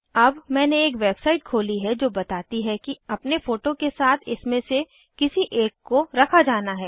अब मैंने एक वेबसाइट खोली है जो बताती है कि अपने फोटो के साथ इनमे से किसी एक को रखा जाना है